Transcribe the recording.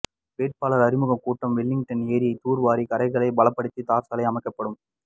வேட்பாளர் அறிமுக கூட்டம் வெலிங்டன் ஏரியை தூர் வாரி கரைகளை பலப்படுத்தி தார் சாலை அமைக்கப்படும்